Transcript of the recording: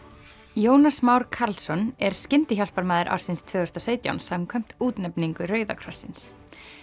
Jónas Már Karlsson er skyndihjálparmaður ársins tvö þúsund og sautján samkvæmt útnefningu Rauða krossins